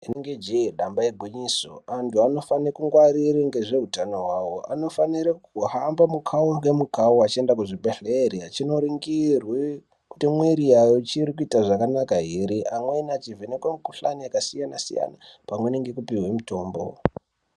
Rinenge je famba igwinyiso antu anofana kungwarira ngezvehutano hwawo anofanira kuhamba mukawu nemukawu vachienda kuzvibhedhlera vachindoningurwa kuti mwiri Yako zvakanaka here vamweni vachivhenekwa mikuhlani yakasiyana-siyana pamweni nekupihwa mitombo.